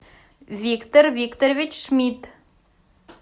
виктор викторович шмидт